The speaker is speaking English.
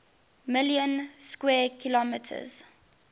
million square kilometers